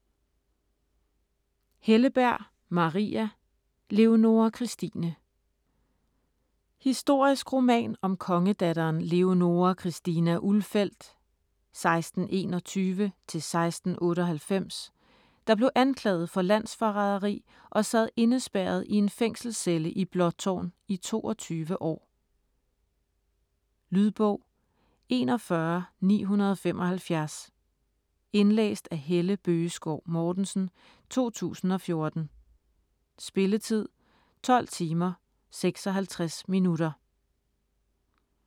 Helleberg, Maria: Leonora Christine Historisk roman om kongedatteren Leonora Christina Ulfeldt (1621-1698), der blev anklaget for landsforræderi og sad indespærret i en fængselscelle i Blåtårn i 22 år. Lydbog 41975 Indlæst af Helle Bøgeskov Mortensen, 2014. Spilletid: 12 timer, 56 minutter.